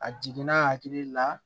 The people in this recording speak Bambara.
A jiginna hakili la